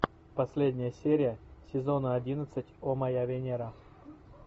последняя серия сезона одиннадцать о моя венера